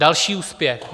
Další úspěch.